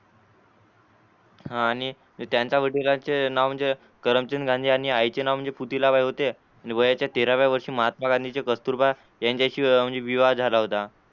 हा आणि त्यांच्या वडिलांचे नाव करमचंद गांधी आणि आईचे नाव पुतलाबाई होते आणि वयाच्या तेराव्या वर्षी महात्मा गांधींचे वेळ कस्तुरबा यांच्याशी विवाह झाला होता.